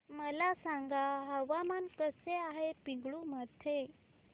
मला सांगा हवामान कसे आहे पिंगुळी मध्ये